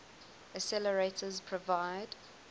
accelerators provide